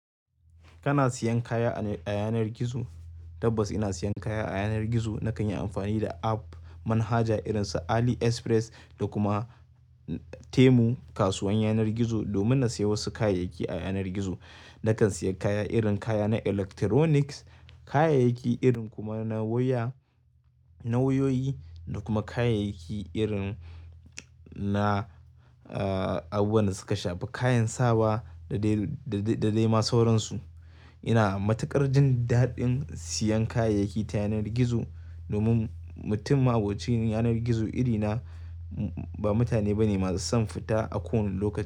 Kana siyan kaya a yanar gizo? Tabbas ina siyan kaya a yanar gizo. Nakan yi amfani da app manhaja irin su AliExpress da kuma Temu kasuwan yanar gizo domin na siya wasu kayayyaki a yanar gizo. Nakan siya kaya irin kaya na electronics, kayayyaki irin kuma na waya, na wayoyi da kuma kayayyaki irin na, abun da suka shafi kayan sawa da dai, da dai ma sauransu. Ina matuƙar jin daɗin siyan kayayyaki ta yanar gizo domin mutum abokin yanar gizo irina ba mutane bane masu son fita a kowani lokaci.